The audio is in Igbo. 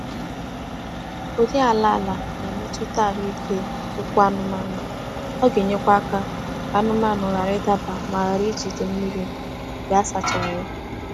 Ụdị ala ala na-emetụta ahụ ike ụkwụ anụmanụ. Ọ ga-enyekwa aka ka anụmanụ ghara ịdaba ma ghara ijide mmiri mgbe a sachara ya.